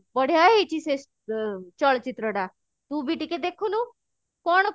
ବଢିଆ ହେଇଛି ସେ ଅ ଚଳଚିତ୍ର ଟା ତୁ ବି ଟିକେ ଦେଖୁନୁ କଣ